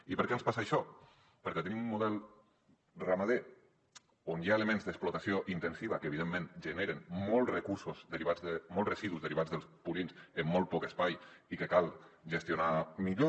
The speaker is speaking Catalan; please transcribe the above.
i per què ens passa això perquè tenim un model ramader on hi ha elements d’explotació intensiva que evidentment generen molts residus derivats dels purins en molt poc espai i que cal gestionar millor